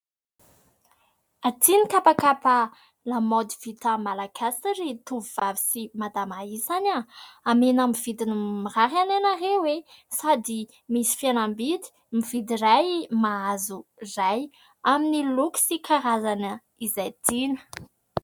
Aty ny kapakapa lamaody vita Malagasy ry tovovavy sy madama isany. Omena amin'ny vidiny mirary anie ianareo e ! Sady misy fihenam-bidy mividy iray mahazo iray, amin'ny loko sy karazana izay tiana.